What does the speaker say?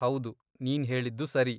ಹೌದು, ನೀನ್ಹೇಳಿದ್ದು ಸರಿ.